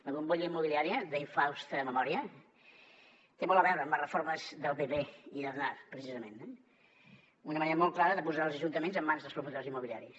la bombolla immobiliària d’infausta memòria té molt a veure amb les reformes del pp i d’aznar precisament una manera molt clara de posar els ajuntaments en mans dels promotors immobiliaris